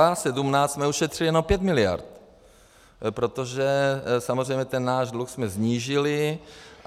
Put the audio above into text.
A 2017 jsme ušetřili jenom 5 miliard, protože samozřejmě ten náš dluh jsme snížili.